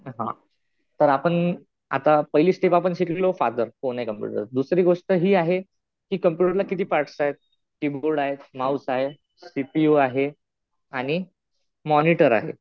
हा. तर आपण पहिली स्टेप आपण शिकलो फादर कोण आहे कम्पुटरचं. दुसरी गोष्ट हि आहे कि कम्प्युटरला किती पार्ट्स आहेत? कि बोर्ड आहे. माउस आहे. सी पी यु आहे आणि मॉनिटर आहे.